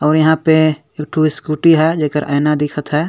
और यहाँ पे एकठो स्कूटी है जेकर आइना दिखत हे।